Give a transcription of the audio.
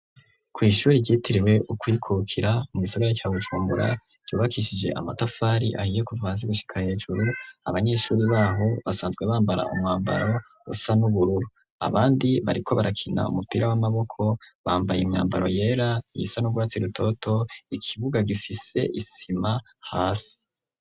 Kw'ishuri ryitiriwe ukwikukira mu gisagara ca Bujumbura ryubakishije amatafari ahiye kuva hasi gushika hejuru abanyeshuri babo basanzwe bambara umwambaro usa n'ubururu, abandi bariko barakina umupira w'amaboko bambaye imyambaro yera, iyisa n'urwatsi rutoto, ikibuga gifise isima hasi.